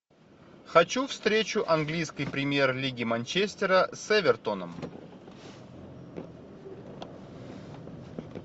хочу встречу английской премьер лиги манчестера с эвертоном